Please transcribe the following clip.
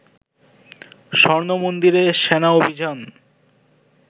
স্বর্ণমন্দিরে সেনা অভিযান